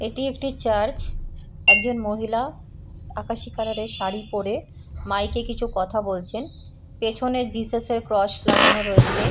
এটি একটি চার্চ । একজন মহিলা আকাশি কালারের শাড়ী পরে মাইক -এ কিছু কথা বলছেন পেছনে জিসাস -এর ক্রস লাগানো রয়েছে।